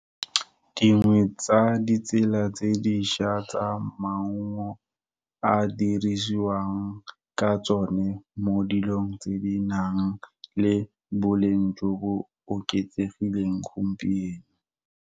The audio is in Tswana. Dingwe tsa ditsela tse diša, tsa maungo a dirisiwang ka tsone, mo dilong tse di nang le boleng jo bo oketsegileng gompieno.